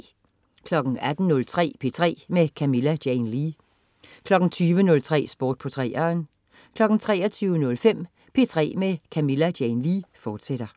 18.03 P3 med Camilla Jane Lea 20.03 Sport på 3'eren 23.05 P3 med Camilla Jane Lea, fortsat